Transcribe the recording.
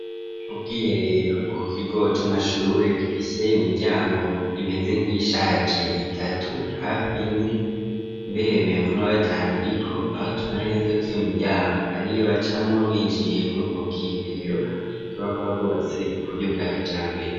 Ubwiherero bwo ku kigo c'amashure gifise imiryango imeze nk'iyishaje itatu hafi ine, mbere umengo n'uwa gatanu uriko aho tubona neza yuko iyo miryango ariyo bacamwo binjiye muri ubwo bwiherero bushobora kuba bwubatse ku buryo bwa kijambere.